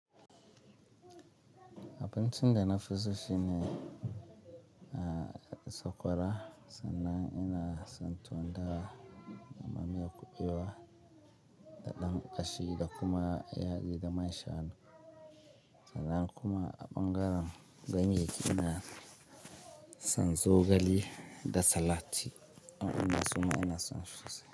Abinci da na fi so shi ne sakwara sannan ina son tuwon dawa amma miyar kuɓewa da dan ƙashi da kuma yaɗi da mashanu. Sannan kuma a ɓangaren ganye ina son zogale da salat, waɗannan ɗin ma su ma ina son su sosai.